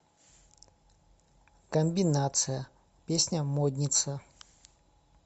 комбинация песня модница